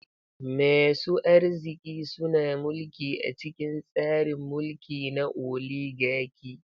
Masu arziki suna mulki a cikin tsarin mulki na oligaki.